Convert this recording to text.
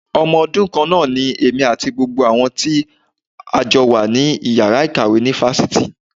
Ọmọ ọdún kan náà ni èmi àti gbogbo àwọn tí a jọ wà ní Ìyàrá ìkàwé ní Fáfitì.